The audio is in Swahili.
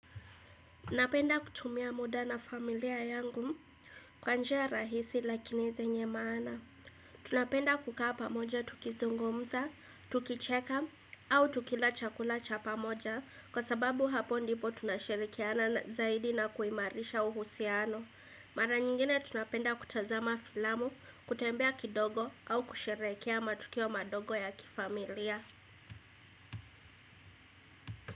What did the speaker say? Napenda kutumia muda na familia yangu kwa njia rahisi lakini zenye maana. Tunapenda kukaa pamoja tukizungumza, tukicheka au tukila chakula cha pamoja kwa sababu hapo ndipo tunashirikiana zaidi na kuimarisha uhusiano. Mara nyingine tunapenda kutazama filamu, kutembea kidogo au kusherehekea matukio madogo ya kifamilia.